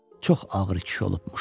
Çox ağır kişi olubmuş.